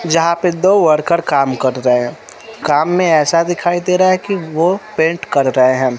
जहा पे दो वर्कर काम कर रहे काम में ऐसा दिखाई दे रहा है कि वो पेंट कर रहे हैं।